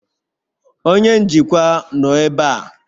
Onye njikwa nọ ebe a?